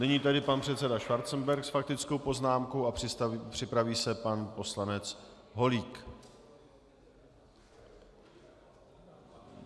Nyní tedy pan předseda Schwarzenberg s faktickou poznámkou a připraví se pan poslanec Holík.